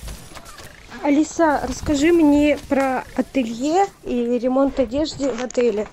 алиса расскажи мне про ателье и ремонт одежды в отеле